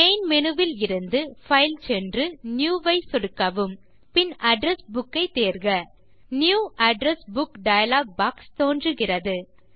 main menuஇலிருந்து file சென்று new வை சொடுக்கவும் பின் அட்ரெஸ் புக் ஐ தேர்க new address book dialog box தோன்றுகிறது